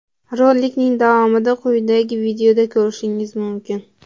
Rolikning davomini quyidagi videoda ko‘rishingiz mumkin.